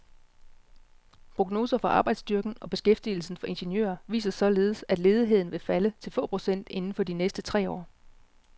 Prognoser for arbejdsstyrken og beskæftigelsen for ingeniører viser således, at ledigheden vil falde til få procent inden for de næste tre år.